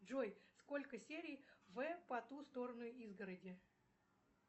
джой сколько серий в по ту сторону изгороди